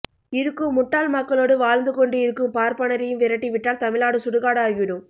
இருக்கும் முட்டாள் மக்களோடு வாழ்ந்துகொண்டு இருக்கும் பார்பனரையும் விரட்டி விட்டால் தமிழ்நாடு சுடுகாடு ஆகிவிடும்